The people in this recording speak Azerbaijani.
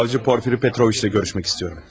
Prokuror Porfiri Petroviçlə görüşmək istəyirəm.